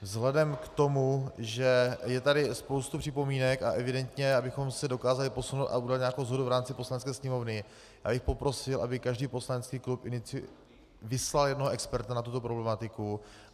Vzhledem k tomu, že je tady spousta připomínek a evidentně abychom se dokázali posunout a udělat nějakou shodu v rámci Poslanecké sněmovny, já bych poprosil, aby každý poslanecký klub vyslal jednoho experta na tuto problematiku.